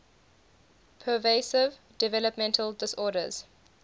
pervasive developmental disorders